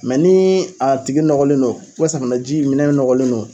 ni a tigi nɔgɔlen don, sanufɛji minɛ nɔgɔlen don